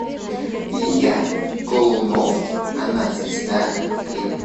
илья колунов она звезда клип